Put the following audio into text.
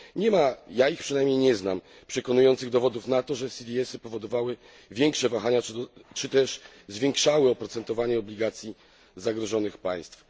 Nie ma ja ich przynamniej nie znam przekonujących dowodów na to, że CDS y powodowały większe wahania, czy też zwiększały oprocentowanie obligacji zagrożonych państw.